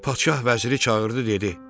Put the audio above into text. Padşah vəziri çağırdı dedi: